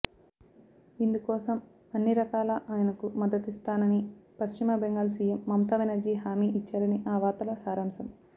ఇందుకోసం అన్ని రకాల ఆయనకు మద్దతునిస్తానని పశ్చిమ బెంగాల్ సీఎం మమతా బెనర్జీ హామీ ఇచ్చారని ఆ వార్తల సారాంశం